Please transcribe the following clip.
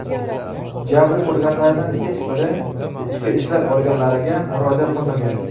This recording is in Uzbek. Jabr ko‘rganlardan hech biri ichki ishlar organlariga murojaat qilmagan.